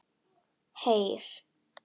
Heyr!